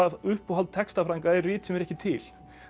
uppáhald textafræðinga er rit sem er ekki til